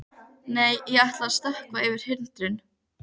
Nei, ég ætla að stökkva yfir hindrun.